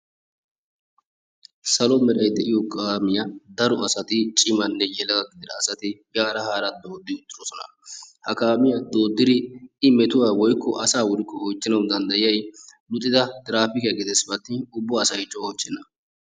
Salo meeray de'iyo kaamiya daro asati cimanne yelaga gidida asati yaara haara dooddi uttidosona. ha kaamiyaa dooddidi i metuwaa woykko asaa woyikko oychchanawu danddayiyayi uttida tirafiikiyaa gidess pe attin ubba asay coo oychchenna.